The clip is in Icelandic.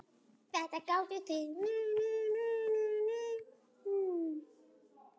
Þetta gátuð þið.